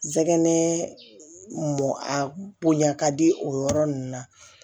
Jɛgɛ m a bonya ka di o yɔrɔ ninnu na